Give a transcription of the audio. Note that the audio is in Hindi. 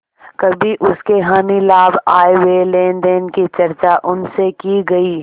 कभी उसके हानिलाभ आयव्यय लेनदेन की चर्चा उनसे की गयी